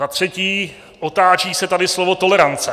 Za třetí, otáčí se tady slovo tolerance.